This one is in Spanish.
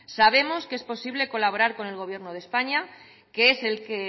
sabemos que es posible colaborar con el gobierno de españa que es el que